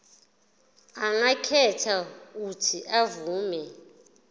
angakhetha uuthi avume